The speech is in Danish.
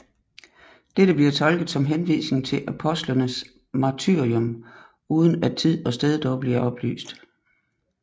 Dette bliver tolket som henvisning til apostlenes martyrium uden at tid og sted dog bliver oplyst